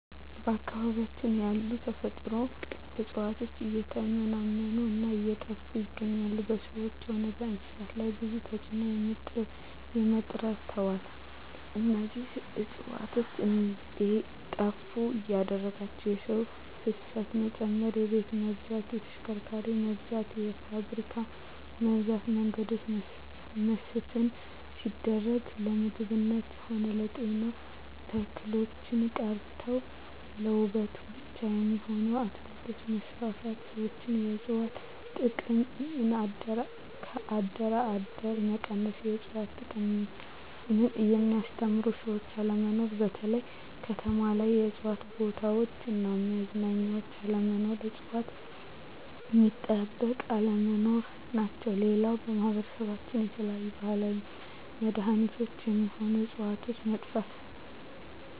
በአካባቢያችን ያሉ የተፈጥሮ እጽዋት እየተመናመኑ እና እየጠፋ ይገኛሉ በሰዎች ሆነ በእንስሳት ላይ ብዙ ተጽዕኖ አምጥተዋል እነዚህ እጽዋት እንዴጠፋ ያደረጋቸው የሰው ፋሰት መጨመር የቤት መብዛት የተሽከርካሪ መብዛት የፋብሪካ መብዛት የመንገዶች መስፍን ሲደረግ ለምግብነት ሆነ ለጤና ተክሎች ቀርተው ለዉበት ብቻ የሚሆኑ አትክልቶች መስፋፋት ሠዎች የእጽዋት ጥቅም ከአደር አደር መቀነስ የእጽዋት ጥቅምን የሚያስተምሩ ሰዎች አለመኖር በተለይ ከተማ ላይ የእጽዋት ቦታዎች እና መዝናኛ አለመኖር እጽዋት ሚጠበቅ አለመኖር ናቸው ሌላው በማህበረሰባችን የተለያዩ የባህላዊ መዳኔቾች ሚሆኑ ህጽዋቾች ጠፍተዋል